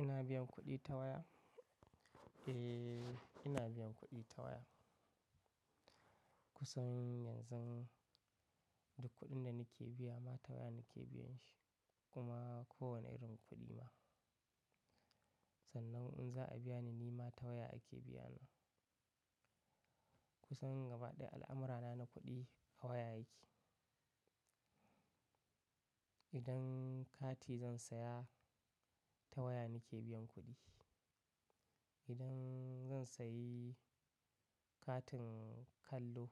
Ina biyan kuɗi ta waya? Eh, ina biyan kuɗi ta waya. Kusan yanzu duk kuɗin da nake biya ma ta waya nake biyan shi, kuma kowane irin kuɗi ne Sannan in za a biya ni, ni ma ta waya ake biyani Kusan gaba ɗaya al'amura na na kuɗi a waya yake. Idan kati zan saya, ta waya nake biyan kuɗi. Idan zan sayi katin kallo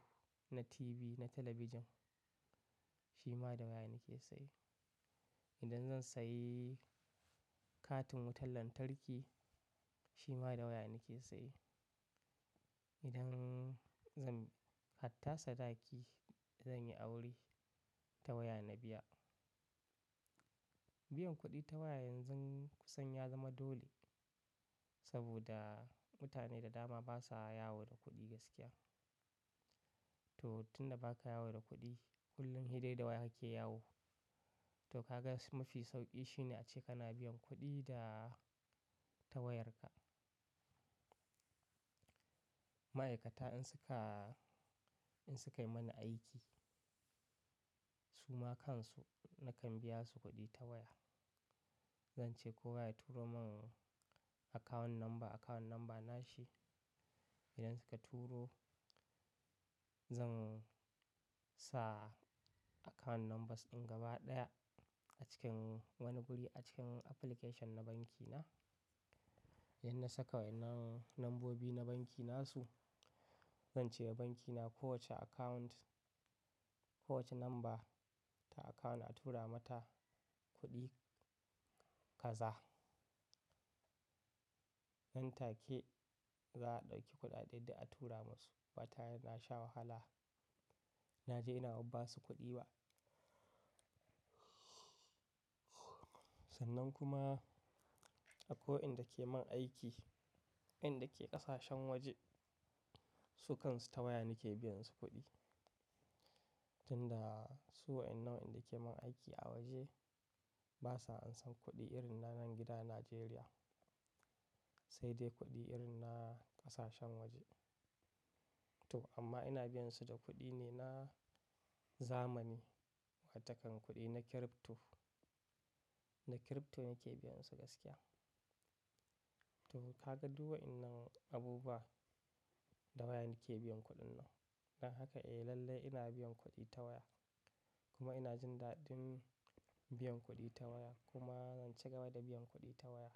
na TV, na talabijin, shi ma da waya nake saye. Idan zan sayi katin wutar lantarki, shi ma da waya nake saye. Idan zan hatta sadaki, zan yi aure, ta waya na biya. Biyan kuɗi ta waya yanzu kusan ya zama dole saboda mutane da dama basa yawo da kuɗi gaskiya. To tun da ba sa yawo da kuɗi, kullum he dai da waya yake yawo. To kaga mafi sauƙi shine ace kana biyan kuɗi da ta wayarka. Ma'aikata in suka, in suka yi mani aiki, su ma kan su nakan biya su kuɗi ta waya. Zance kowa ya turo mun account number, account number nashi. Idan suka turo, zan sa account numbers in gaba ɗaya a cikin wani guri a cikin application na banki na. Inda na saka waƴannan nambobi na banki nasu. Zance banki na ko wace account, ko wace number ta account a tura mata kuɗi kaza. Nan take za a ɗauki kuɗaɗe duk a tura mu su. Ba tare da na sha wahala, naje ina ba basu kuɗi ba. Sannan kuma, akwai waɗanda suke mun aiki, inda ke ƙasashen waje, su kansu ta waya nake biyan su kuɗi. Tunda su waƴann da su ke mun aiki a waje basa an san kuɗi irin na nan gida Nijeriya, sai dai kuɗi irin na ƙasashen waje. To amma ina biyan su da kuɗi ne na, zamani, wata kon kuɗi na crypto. Na crypto nake biyan su gaskiya. To kaga duk waƴan nan abubuwa da waya nake biyan kuɗin nan. Don haka eh lallai ina biyan kuɗi ta waya. Kuma ina jin daɗin biyan kuɗi ta waya. Kuma zan ci gaba da biyan kuɗi ta waya.